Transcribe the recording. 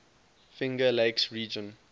finger lakes region